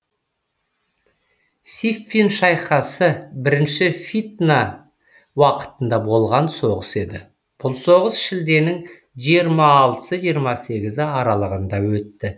сиффин шайқасы бірінші фитна уақытында болған соғыс еді бұл соғыс шілденің жиырма алтысы жиырма сегізі аралығында өтті